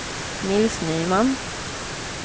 Nils Nyman